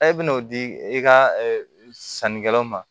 i bɛn'o di i ka sannikɛlaw ma